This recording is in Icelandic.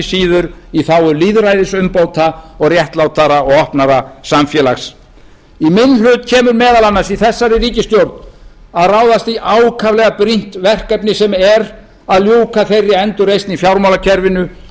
síður í þágu lýðræðisumbóta og réttlátara og opnara samfélags í minn hlut kemur meðal annars í þessari ríkisstjórn að ráðast í ákaflega brýnt verkefni sem er að ljúka þeirri endurreisn í fjármálakerfinu